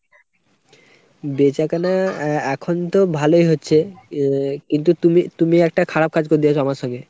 বেচাকেনা আ এখনতো ভালোই হচ্ছে, আ কিন্তু কিন্তু তুমি একটা খারাপ কাজ করে দিয়েছো আমার সঙ্গে।